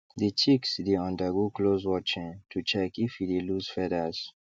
the chicks dey undergo close watching to check if e dey loss feathers